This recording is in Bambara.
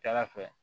Ca ala fɛ